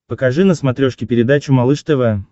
покажи на смотрешке передачу малыш тв